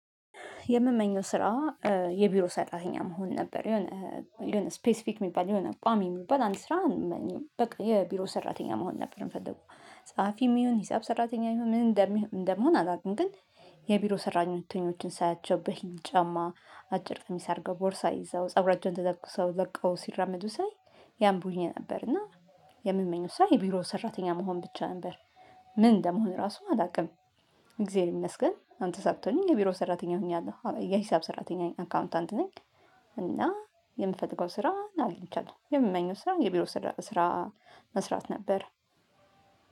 የምመኘው ስራ የቢሮ ሰራተኛ መሆን ነበር የሆነ የሆነ ስፔሲፊክ የሚባል የሆነ ቋሚ የሚባል አንድ ስራ። በቃ የቢሮ ሰራተኛ መሆን ነበር የምፈልገው ጸሀፊም ይሁን ሂሳብ ሰራተኛ ይሁን ምን እንደምሆን አላውቅም። ግን የቢሮ ሰራተኞችን ሳያቸው በሂል ጫማ አጭር ቀሚስ አድርገው ቦርሳ ይዘው ፀጉራቸውን ተተኩሰው ለቀው ሲራመዱ ሳይ ያምሩኝ ነበርና የምመኘው ሳይ የቢሮው ሰራተኛ መሆን ብቻ ነበር። ምን እንደምሆን ራሱ አላውቅም። እግዜር ይመስገን አሁን ተሳክቶልኝ የቢሮ ሰራተኛ ሆኛለሁ የሂሳብ ሰራተኛ አካውንታንት ነኝ። እና የምፈልገው ስራ አጊነቻለው የምመኘው ስራ የቢሮ ስራ መስራት ነበር።